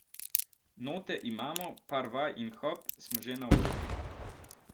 Note imamo, par vaj in hop, smo že na odru.